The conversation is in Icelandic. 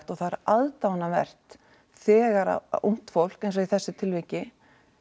og það er aðdáunarvert þegar ungt fólk eins og í þessu tilviki